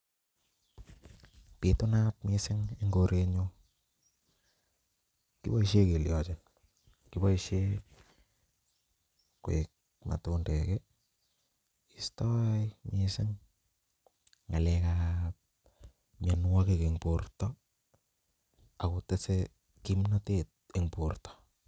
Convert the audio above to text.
Bitunat mising eng korenyu. Kiboishe kelioji? Kiboishe koek matundek istoi mising ng'alekab mianwokik eng borta akutesei kimnatet eng borto.